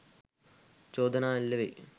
චෝදනා එල්ල වෙයි